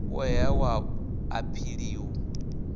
u ṱoḓeaho wa aphili u